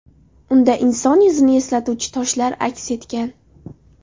Unda inson yuzini eslatuvchi toshlar aks etgan.